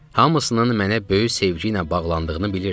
Hamısının mənə böyük sevgi ilə bağlandığını bilirdim.